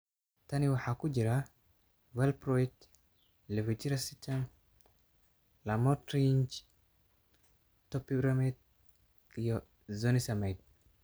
Tan waxaa ku jira valproate, levetiracetam, lamotrigine, topiramate iyo zonisamide.